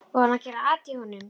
Var hún að gera at í honum?